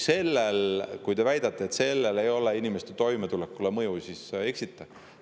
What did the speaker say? Kui te väidate, et sellel ei oleks inimeste toimetulekule mõju, siis te eksite.